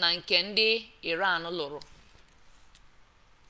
na nke ndị iran lụrụ